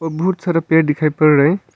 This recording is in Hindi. बहुत सारा पेड़ दिखाई पड़ रहे है।